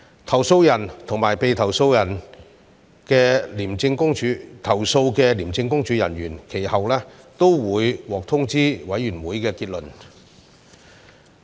投訴人和被投訴的廉政公署人員其後均會獲通知委員會的結論。